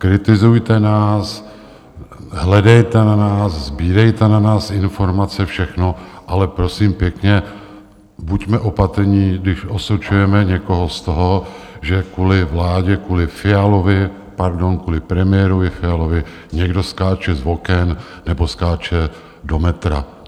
Kritizujte nás, hledejte na nás, sbírejte na nás informace, všechno, ale prosím pěkně, buďme opatrní, když osočujeme někoho z toho, že kvůli vládě, kvůli Fialovi, pardon, kvůli premiérovi Fialovi, někdo skáče z oken nebo skáče pod metro.